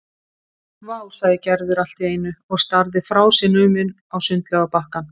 Vá sagði Gerður allt í einu og starði frá sér numin á sundlaugarbakkann.